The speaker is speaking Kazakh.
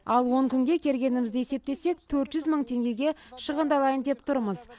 ал он күнге келгенімізді есептесек төрт жүз мың теңгеге шығындалайын деп тұрмыз